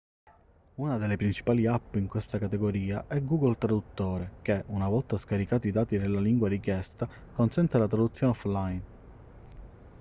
una delle principali app in questa categoria è google traduttore che una volta scaricati i dati della lingua richiesta consente la traduzione offline